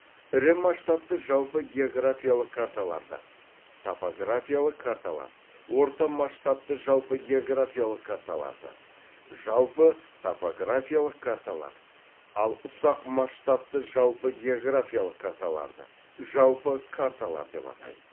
ірі масштабты жалпы географиялық карталарды топографиялық карталар орта масштабты жалпы географиялық карталарды жалпы топографиялық карталар ал ұсақ масштабты жалпы географиялық карталарды жалпы карталар деп атайды